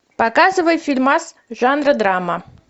показывай фильмас жанра драма